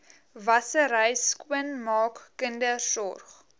wassery skoonmaak kindersorg